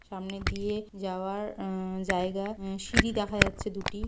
সামনে দিয়ে যাওয়ার অ্যা-অ্যা জায়গা অ্যা-অ্যা সিঁড়ি দেখা যাচ্ছে দুটি।